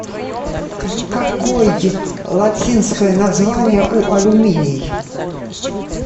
какой латинское название у алюминий